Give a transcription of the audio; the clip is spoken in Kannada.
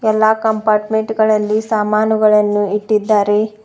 ಎಲ್ಲಾ ಕಂಪಾರ್ಟ್ಮೆಂಟ್ ಗಳಲ್ಲಿ ಸಾಮಾನುಗಳನ್ನು ಇಟ್ಟಿದ್ದಾರೆ.